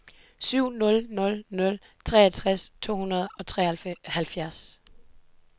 syv nul nul nul treogtres to hundrede og treoghalvtreds